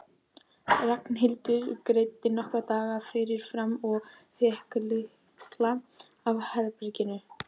Ragnhildur greiddi nokkra daga fyrirfram og fékk lykla að herberginu.